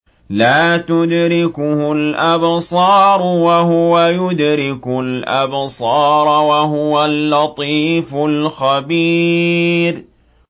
لَّا تُدْرِكُهُ الْأَبْصَارُ وَهُوَ يُدْرِكُ الْأَبْصَارَ ۖ وَهُوَ اللَّطِيفُ الْخَبِيرُ